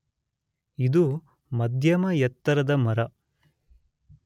ಇದ ಮದ್ಯಮ ಎತ್ತರದ ಮರ